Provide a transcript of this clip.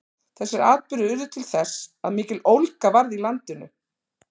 þessir atburðir urðu til þess að mikill ólga varð í landinu